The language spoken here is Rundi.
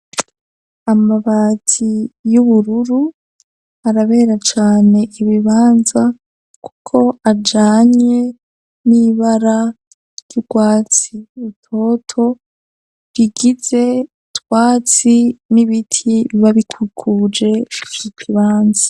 Amabati y'ubururu arabera cane ibibanza kuko ajanye n'ibara ry'urwatsi rutoto bigize utwatsi n'ibiti bibabikikuje ikibanza.